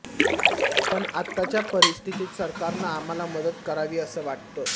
पण आताच्या परिस्थितीत सरकारनं आम्हाला मदत करावी असं वाटतं